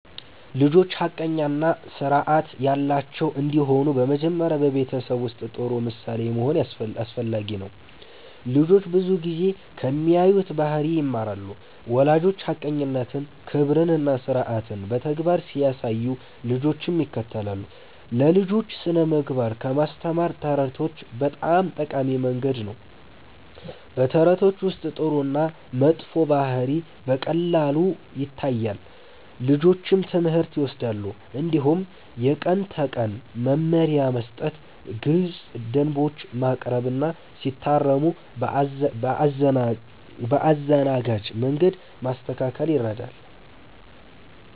ልጆች ሐቀኛ እና ስርዓት ያላቸው እንዲሆኑ በመጀመሪያ በቤተሰብ ውስጥ ጥሩ ምሳሌ መሆን አስፈላጊ ነው። ልጆች ብዙ ጊዜ ከሚያዩት ባህሪ ይማራሉ። ወላጆች ሐቀኝነትን፣ ክብርን እና ስርዓትን በተግባር ሲያሳዩ ልጆችም ይከተላሉ። ለልጆች ስነ-ምግባር ለማስተማር ተረቶች በጣም ጠቃሚ መንገድ ናቸው። በተረቶች ውስጥ ጥሩ እና መጥፎ ባህሪ በቀላሉ ይታያል፣ ልጆችም ትምህርት ይወስዳሉ። እንዲሁም የቀን ተቀን መመሪያ መስጠት፣ ግልፅ ደንቦች ማቅረብ እና ሲታረሙ በአዘናጋጅ መንገድ ማስተካከል ይረዳል።